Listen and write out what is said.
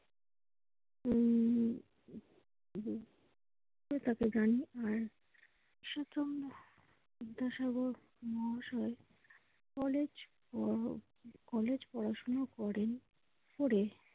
উম বিদ্যাসাগর মহাশয় কলেজ পড়াশোনা করেন। করে